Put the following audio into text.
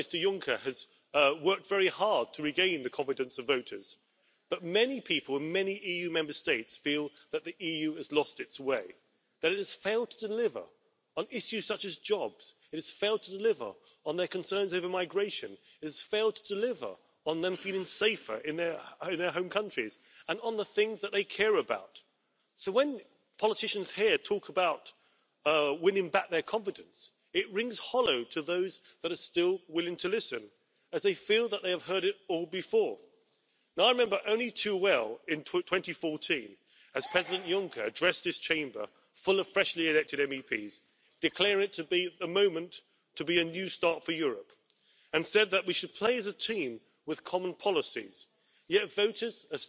für die gleiche Arbeit weniger verdienen als Männer. Wann kommt der Vorschlag der Europäischen Kommission? Und ja, Kollegin Zimmer hat völlig recht Wir brauchen eine Rahmenrichtlinie für die Sicherung eines europäischen Mindestlohns. Das ist dringend geboten, um die Ungleichgewichte im Binnenmarktgefälle zu balancieren. Wenn wir sagen, wir wollen die Transformation zu mehr Nachhaltigkeit, zu einem neuen ökonomischen Modell, dann muss man das ablesen können im Semester der Europäischen Union. Die Zahlen müssen die Wahrheit sagen über den Umweltverbrauch, über die sozialen Kosten, über die Beschäftigungseffekte. Reformieren Sie das Europäische Semester